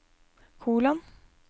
kolon